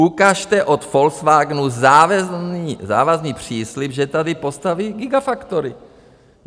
Ukažte od Volkswagenu závazný příslib, že tady postaví gigafactory.